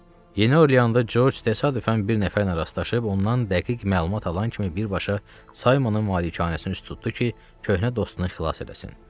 Yeni Orleanda Corc təsadüfən bir nəfərlə rastlaşıb, ondan dəqiq məlumat alan kimi birbaşa Saymonun malikanəsinə üz tutdu ki, köhnə dostunu xilas eləsin.